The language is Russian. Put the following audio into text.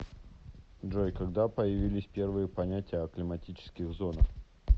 джой когда появились первые понятия о климатических зонах